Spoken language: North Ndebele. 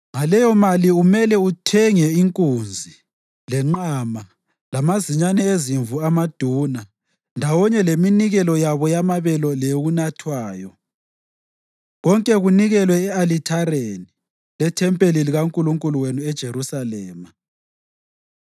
Ngaleyomali umele uthenge inkunzi, lenqama, lamazinyane ezimvu amaduna, ndawonye leminikelo yabo yamabele leyokunathwayo, konke kunikelwe e-alithareni lethempeli likaNkulunkulu wenu eJerusalema.